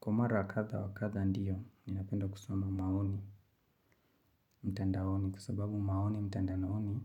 Kwa mara kadha wa kadha ndiyo, ninapenda kusoma maoni, mtandaoni, kwa sababu maoni, mtandaoni,